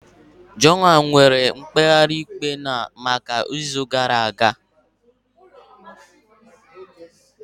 John rịọrọ maka mkpegharị ikpe ya n'izu gara aga.